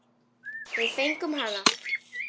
Við fengum hana!